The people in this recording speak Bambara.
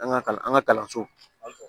An ka kalan an ka kalansow